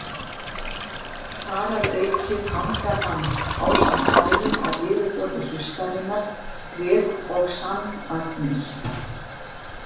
Þar að auki fangar hann, ásamt hárum á yfirborði hlustarinnar, ryk- og sandagnir.